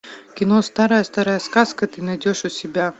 кино старая старая сказка ты найдешь у себя